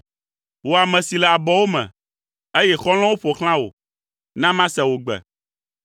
Wò ame si le abɔwo me, eye xɔlɔ̃wo ƒo xlã wò, na mase wò gbe!